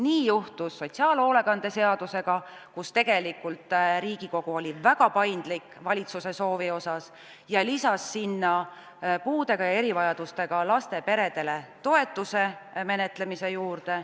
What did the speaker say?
Nii juhtus sotsiaalhoolekande seadusega, kus Riigikogu oli väga paindlik valitsuse soovi puhul ja lisas sinna puudega ja erivajadustega laste peredele toetuse menetlemise juurde.